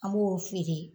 An b'o feere